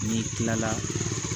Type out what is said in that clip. N'i kilala